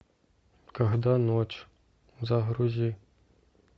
когда ночь загрузи